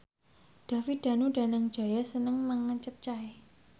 David Danu Danangjaya seneng mangan capcay